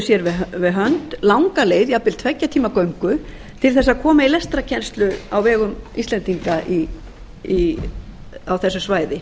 sér við hönd langa leið jafnvel tveggja tíma göngu til að koma í lestrarkennslu á vegum íslendinga á þessu svæði